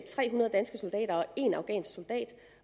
tre hundrede danske soldater og en afghansk soldat